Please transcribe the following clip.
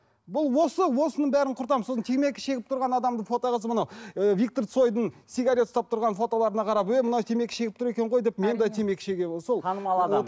бұл осы осының бәрін құртамыз сосын темекі шегіп тұрған адамды фотоға салып анау ы виктор цойдың сигарет ұстап тұрған фотоларына қарап ей мынау темекі шегіп тұр екен ғой деп мен де темекі шегемін сол танымал адам